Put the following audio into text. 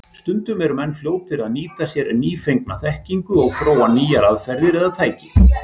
Stundum eru menn fljótir að nýta sér nýfengna þekkingu og þróa nýjar aðferðir eða tæki.